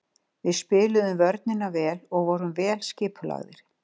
Við spiluðum vörnina vel og vorum vel skipulagðir.